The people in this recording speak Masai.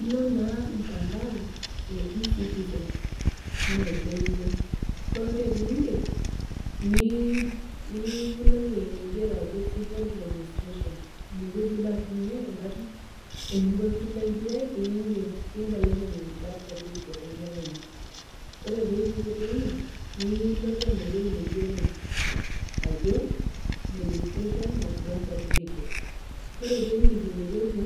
Ilo naaa mtandao e e-citizen anaa entoiwuoi, ore pee indip nilo ewueji naigero ajo civil registrations. Inewueji ilo aatumie ening'o pee kisaidiai, piinger pimbelekeny birth certificate enkerai ino. Ore pee ipuku teine niilo tena ewueji naigero ajo registrations of birth certificate. Ore pee indip ine wueji